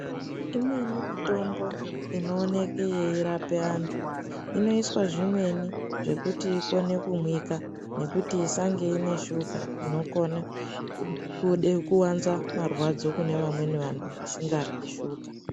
Imweni mitombo inooneke yeirapa antu inoiswa zvimweni zvekuti ikone kumwike nekuti isange ine shuka inokone kude kwanza marwadzo kenevamweni antu asikaryi shuka.